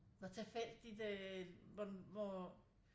Hvor tilfældigt øh hvor